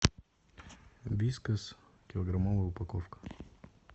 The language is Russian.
вискас килограммовая упаковка